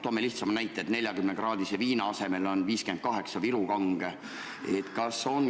Toome lihtsa näite: 40-kraadise viina asemel on 58-kraadine Viru Kange.